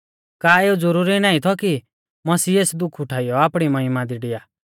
का एऊ ज़रूरी नाईं थौ कि मसीह एस दुख उठाइयौ आपणी महिमा दी डिआ